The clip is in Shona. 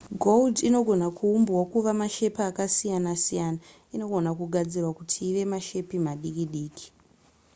gold inogona kuumbwa kuva mashepi akasiyana-siyana inogona kugadzirwa kuti ive mashepi madiki diki